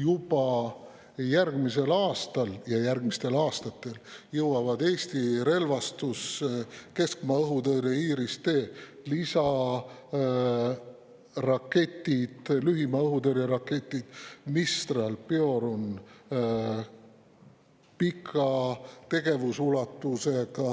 Juba järgmisel aastal ja järgmistel aastatel jõuavad Eesti relvastusse keskmaa õhutõrje IRIS-T lisaraketid, lühimaa õhutõrje raketid Mistral ja Piorun, pika tegevusulatusega